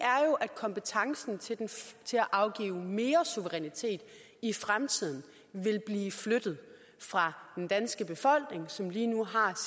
kompetencen til at afgive mere suverænitet i fremtiden vil blive flyttet fra den danske befolkning som lige nu har